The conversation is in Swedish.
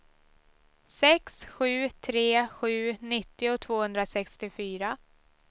sex sju tre sju nittio tvåhundrasextiofyra